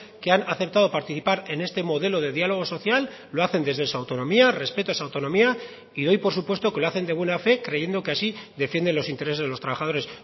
que han aceptado participar en este modelo de diálogo social lo hacen desde su autonomía respeto esa autonomía y doy por supuesto que lo hacen de buena fe creyendo que así defienden los intereses de los trabajadores